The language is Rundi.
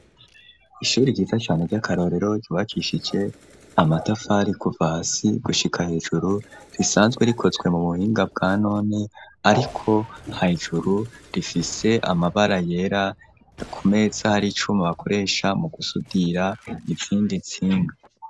Ishuri yiza cyane ry'akarorero ribakishije amatafari kuvasi gushika hejuru risanzwe rikozwe mu buhinga bwa none ariko nha ijuru rifise amabara yera ku mesa hari icumi bakoresha mu gusudira izindi ntsinga.